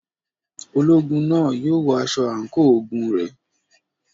Ológun náà yóò wọ aṣọ àǹkóò ogun rẹ̀.